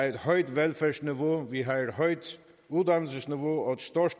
et højt velfærdsniveau et højt uddannelsesniveau og et stort